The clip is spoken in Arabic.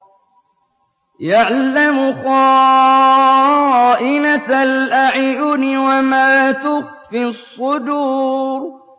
يَعْلَمُ خَائِنَةَ الْأَعْيُنِ وَمَا تُخْفِي الصُّدُورُ